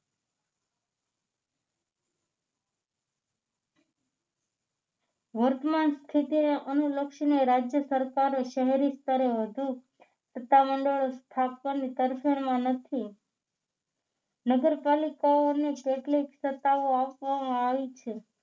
વર્તમાન સ્થિતિને અનુલક્ષીને રાજ્ય સરકાર શહેરી સ્તરે વધુ સત્તા મંડળો સ્થાપવાની તરફેણમાં નથી નગરપાલિકાઓને કેટલીક સત્તાઓ આપવામાં આવી છે